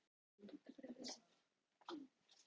Mun Hörður stjana við Hannes næstu dagana eftir vörsluna?